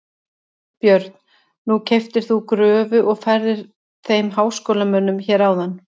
Björn: Nú keyptir þú gröfu og færðir þeim háskólamönnum hér áðan?